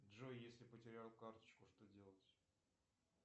джой если потерял карточку что делать